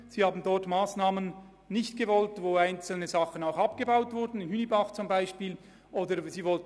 Sie haben Massnahmen abgelehnt, wie etwa jene betreffend die Gartenbauschule Hünibach.